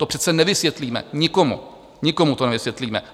To přece nevysvětlíme nikomu, nikomu to nevysvětlíme.